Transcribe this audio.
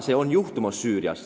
See ongi Süürias juhtumas.